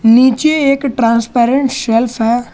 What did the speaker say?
नीचे एक transparent shelf है।